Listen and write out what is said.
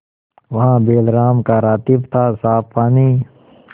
वहाँ बैलराम का रातिब थासाफ पानी